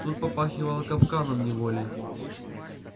тут попахивало капканом неволей